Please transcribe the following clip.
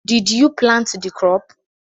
Did you plant the crop?